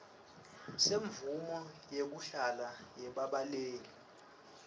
semvumo yekuhlala yebabaleki